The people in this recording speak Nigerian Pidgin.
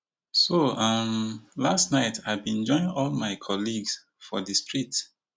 so um last night i bin join all my colleagues for di street